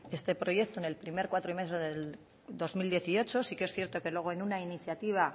este proyecto en el primer cuatrimestre del dos mil dieciocho sí que es cierto que luego en una iniciativa